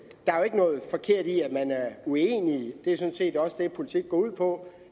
noget forkert i at man er uenige det er sådan set også det politik går ud på